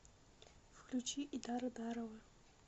включи идара дарова